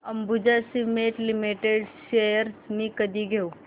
Ambuja cement limited shares मी कधी घेऊ